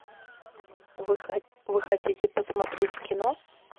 вы хотите посмотреть кино